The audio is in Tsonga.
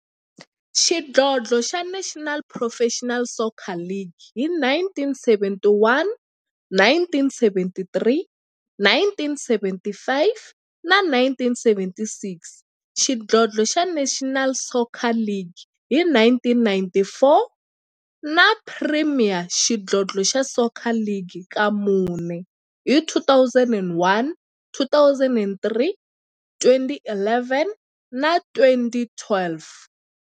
xidlodlo xa National Professional Soccer League hi 1971, 1973, 1975 na 1976, xidlodlo xa National Soccer League hi 1994, na Premier Xidlodlo xa Soccer League ka mune, hi 2001, 2003, 2011 na 2012.